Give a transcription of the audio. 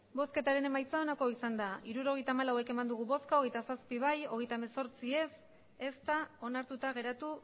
hirurogeita hamalau eman dugu bozka hogeita zazpi bai hogeita hemezortzi ez ez da onartuta geratu